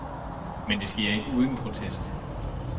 Men det sker ikke uden protest.